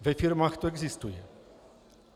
Ve firmách to existuje.